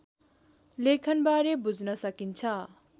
लेखनबारे बुझ्न सकिन्छ